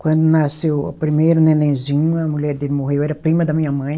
Quando nasceu o primeiro nenenzinho, a mulher dele morreu, era prima da minha mãe.